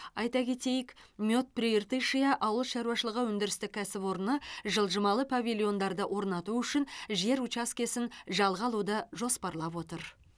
айта кетейік мед прииртышья ауыл шаруашылығы өндірістік кәсіпорны жылжымалы павильондарды орнату үшін жер учаскесін жалға алуды жоспарлап отыр